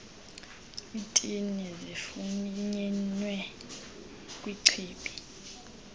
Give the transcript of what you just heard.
iintini zifunyenwe kwichibi